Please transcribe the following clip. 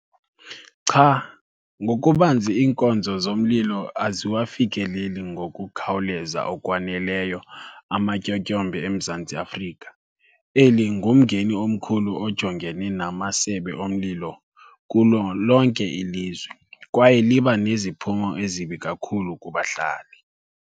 Cha, ngokubanzi iinkonzo zomlilo aziwafikeleli ngokukhawuleza okwaneleyo amatyotyombe eMzantsi Afrika. Eli ngumngeni omkhulu ojongene namasebe omlilo kulo lonke ilizwe kwaye liba neziphumo ezibi kakhulu kubahlali.